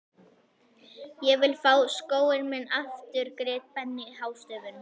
Ég vil fá skóinn minn aftur grét Benni hástöfum.